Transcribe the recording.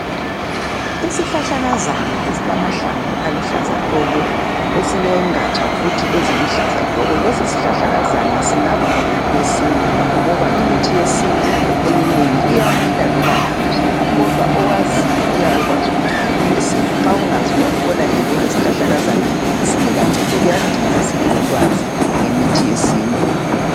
Isihlahlakazana esilamahlamvu aluhlaza tshoko ezilengaja futhi eziluhlaza tshoko lesisihlahlakazana singaba ngumuthi wesintu ngoba imithi yesintu eminengi iyamila loba ngaphi kodwa okwaziyo uyabekwazi ukuthi ngumuthi wesintu nxa ungazi uyabubonanje njenge shlahlakazana esingela ncedo kuyadinga sibili sibelolwazi ngemithi yesintu.